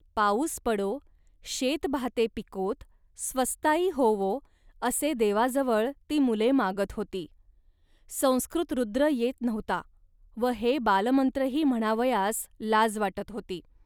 पाऊस पडो, शेतभाते पिकोत, स्वस्ताई होवो, असे देवाजवळ ती मुले मागत होती. संस्कृत रुद्र येत नव्हता व हे बालमंत्रही म्हणावयास लाज वाटत होती